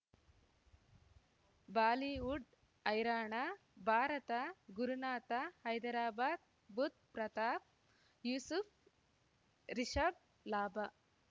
Bollywood ಹೈರಾಣ ಭಾರತ ಗುರುನಾಥ ಹೈದರಾಬಾದ್ ಬುಧ್ ಪ್ರತಾಪ್ ಯೂಸುಫ್ ರಿಷಬ್ ಲಾಭ